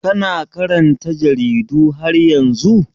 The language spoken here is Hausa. Kana karanta jaridu har yanzu?